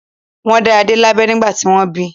Wọ́n dá Adé lábẹ nígbà tí wọ́n bí.